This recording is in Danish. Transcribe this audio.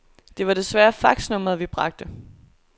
Det var desværre faxnummeret, vi bragte.